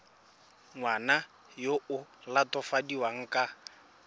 ngwana yo o latofadiwang ka